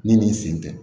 Ne ni n sen tɛ